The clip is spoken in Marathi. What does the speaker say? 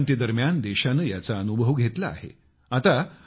श्वेत क्रांती दरम्यान देशाने याचा अनुभव घेतला आहे